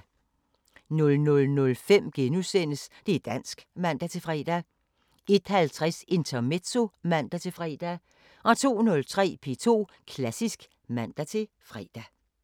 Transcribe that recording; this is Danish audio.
00:05: Det´ dansk *(man-fre) 01:50: Intermezzo (man-fre) 02:03: P2 Klassisk (man-fre)